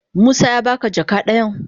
Musa ya ba ka jaka dayan?